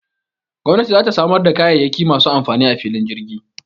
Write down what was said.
Gwamnati za ta samar da kayayyaki masu amfani a filin jirgin